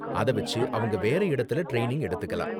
அத வெச்சு அவங்க வேற இடத்துல ட்ரைனிங் எடுத்துக்கலாம்.